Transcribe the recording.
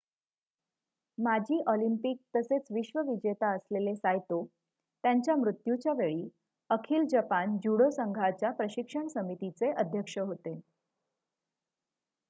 माजी ऑलिंपिक तसेच विश्व विजेता असलेले सायतो त्यांच्या मृत्युच्या वेळी अखिल जपान जूडो संघाच्या प्रशिक्षण समितीचे अध्यक्ष होते